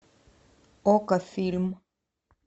окко фильм